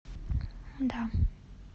да